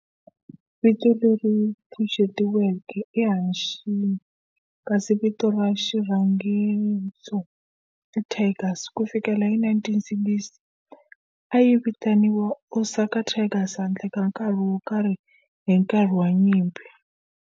Vito leri pfuxetiweke i"Hanshin" kasi vito ra xirhangiso i"Tigers". Ku fikela hi 1960, a yi vitaniwa Osaka Tigers handle ka nkarhi wo karhi hi nkarhi wa nyimpi.